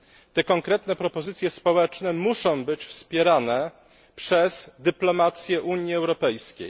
Te konkretne propozycje społeczne muszą być wspierane przez dyplomację Unii Europejskiej.